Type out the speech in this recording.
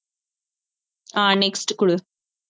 ஆஹ் next குடு